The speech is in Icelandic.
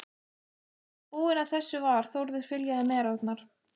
Þegar búinn að þessu var, Þórður fyljaði merarnar.